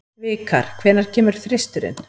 Vikar, hvenær kemur þristurinn?